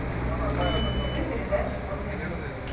покажи на тв передачу конный мир